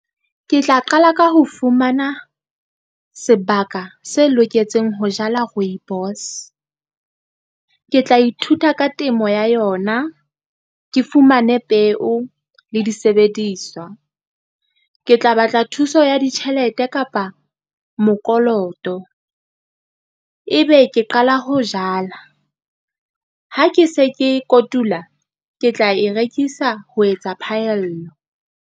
Ke tla qala ka ho fumana, sebaka se loketseng ho jala rooibos. Ke tla ithuta ka temo ya yona, ke fumane peo le disebediswa, ke tla batla thuso ya ditjhelete kapa mokoloto. Ebe ke qala ho jala, ha ke se ke kotula, ke tla e rekisa ho etsa phaello.